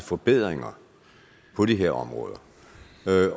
forbedringer på de her områder